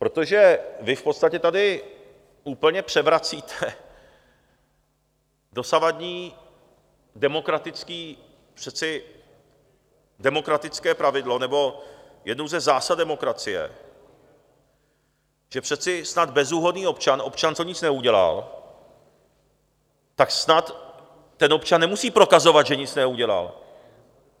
Protože vy v podstatě tady úplně převracíte dosavadní demokratické pravidlo, nebo jednu ze zásad demokracie, že přece snad bezúhonný občan, občan, co nic neudělal, tak snad ten občan nemusí prokazovat, že nic neudělal.